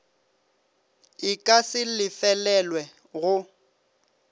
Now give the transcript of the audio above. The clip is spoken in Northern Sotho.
e ka se lefelelwe go